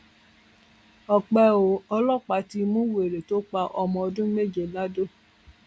ọpẹ ò ọlọpàá ti mú wèrè tó pa ọmọ ọdún méje lado